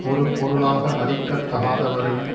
ஒரு பொருளாக மதிக்க தகாதவரையும்